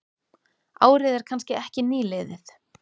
Árið er kannski ekki nýliðið.